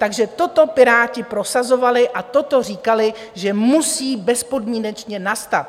Takže toto Piráti prosazovali a toto říkali, že musí bezpodmínečně nastat.